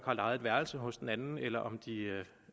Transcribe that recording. har lejet et værelse hos den anden eller om de